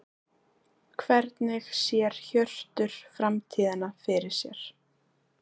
Hvernig sér Hjörtur framtíðina fyrir sér?